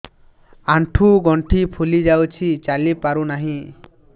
ଆଂଠୁ ଗଂଠି ଫୁଲି ଯାଉଛି ଚାଲି ପାରୁ ନାହିଁ